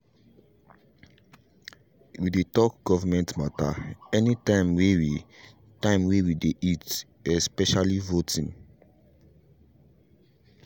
we dey talk government matter any time way we time way we dey eat especially voting